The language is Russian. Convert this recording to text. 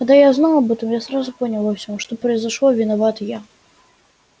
когда я узнал об этом я сразу понял во всём что произошло виноват я